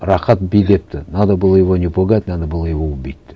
рахат бүйдепті надо было его не пугать надо было его убить деп